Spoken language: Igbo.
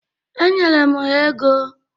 Enyere m ha ego.